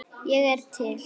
Ég er til